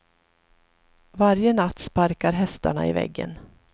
Varje natt sparkar hästarna i väggen.